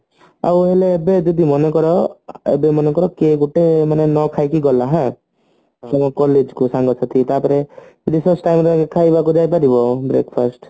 ଆଉ ହେଲେ ଏବେ ଯଦି ମନେ କର ଏବେ ମନେକର କିଏ ଗୋଟେ ମାନେ ନ ଖାଇକି ଗଲା ହାଁ ତମ collage କୁ ସାଙ୍ଗ ସାଥି Raise time ରେ ଖାଇବାକୁ ଯାଇ ପାରିବ breakfast